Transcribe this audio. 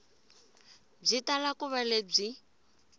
byi tala ku va lebyi